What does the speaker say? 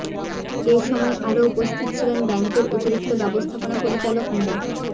এ সময় আরও উপস্থিত ছিলেন ব্যাংকের অতিরিক্ত ব্যবস্থাপনা পরিচালক মো